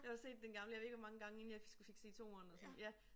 Jeg har set den gamle jeg ved ikke hvor mange gange inden jeg skulle fik set 2'eren og sådan ja